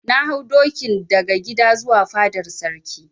Na hau dokin daga gida zuwa fadar Sarki.